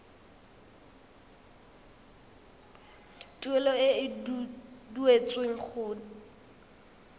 tuelo e e duetsweng go